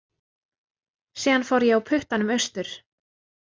Síðan fór ég á puttanum austur.